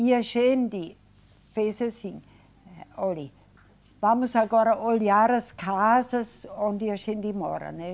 E a gente fez assim, eh, olhe, vamos agora olhar as casas onde a gente mora, né?